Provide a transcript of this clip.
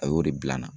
A y'o de bila n na